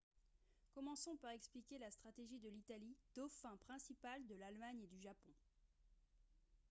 commençons par expliquer la stratégie de l'italie « dauphin » principal de l'allemagne et du japon